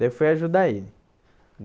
Daí eu fui ajudar ele.